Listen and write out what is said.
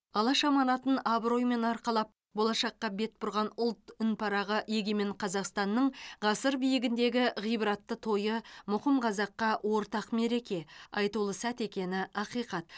алаш аманатын абыроймен арқалап болашаққа бет бұрған ұлт үнпарағы егемен қазақстан ның ғасыр биігіндегі ғибратты тойы мұқым қазаққа ортақ мереке айтулы сәт екені ақиқат